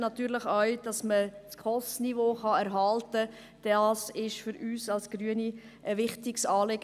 Für uns Grüne ist natürlich auch die Erhaltung des SKOS-Niveaus ein wichtiges Anliegen.